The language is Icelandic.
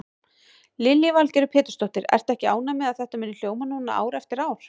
Lillý Valgerður Pétursdóttir: Ertu ekki ánægð með að þetta muni hljóma núna ár eftir ár?